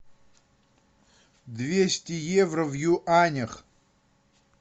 двести евро в юанях